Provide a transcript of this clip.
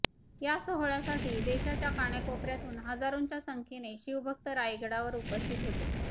या सोहळ्यासाठी देशाच्या कानाकोपर्यातुन हजारोंच्या संख्येने शिवभक्त रायगडावर उपस्थित होते